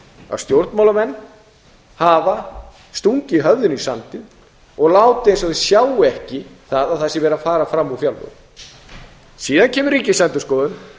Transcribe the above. að stjórnmálamenn hafa stungið höfðinu í sandinn og látið eins og þeir sjái ekki það að það sé verið að fara fram úr fjárlögum síðan kemur ríkisendurskoðun